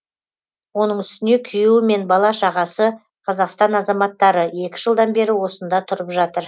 оның үстіне күйеуі мен бала шағасы қазақстан азаматтары екі жылдан бері осында тұрып жатыр